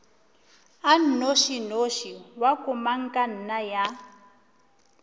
a nnošinoši wa komangkanna ya